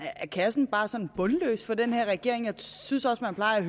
er kassen bare sådan bundløs for den her regering jeg synes også man plejer